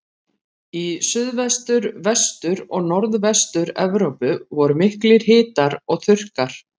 Í Suðvestur-, Vestur- og Norðvestur-Evrópu voru miklir hitar og þurrkar.